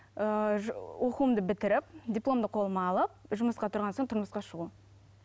ыыы оқуымды бітіріп дипломды қолыма алып жұмысқа тұрған соң тұрмысқа шығу